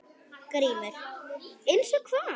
GRÍMUR: Eins og hvað?